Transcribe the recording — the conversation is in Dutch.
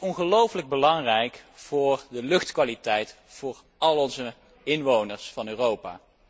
Zij is ongelooflijk belangrijk voor de luchtkwaliteit voor alle inwoners van Europa.